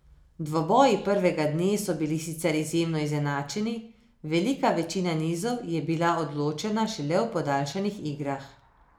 Dvoboji prvega dne so bili sicer izjemno izenačeni, velika večina nizov je bila odločena šele v podaljšanih igrah.